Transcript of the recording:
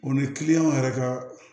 O ni yɛrɛ ka